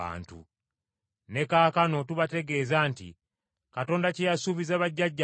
“Ne kaakano tubategeeza nti, Katonda kye yasuubiza bajjajjaffe